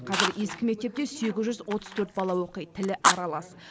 қазір ескі мектепте сегіз жүз отыз төрт бала оқиды тілі аралас